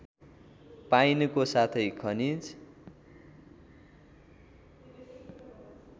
पाइनुको साथै खनिज